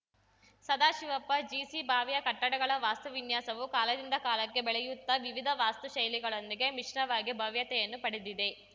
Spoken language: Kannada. ಸದಾಶಿವಪ್ಪ ಜಿಸಿ ಬಾವಿಯ ಕಟ್ಟಡಗಳ ವಾಸ್ತುವಿನ್ಯಾಸವು ಕಾಲದಿಂದ ಕಾಲಕ್ಕೆ ಬೆಳೆಯುತ್ತಾ ವಿವಿಧ ವಾಸ್ತುಶೈಲಿಗಳೊಂದಿಗೆ ಮಿಶ್ರವಾಗಿ ಭವ್ಯತೆಯನ್ನು ಪಡೆದಿದೆ